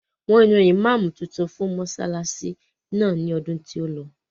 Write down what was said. Wọ́n yan ìmáàmù tuntun fún mọsálásí náà ní ọdún tí ó lọ.